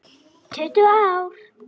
Tuttugu ár!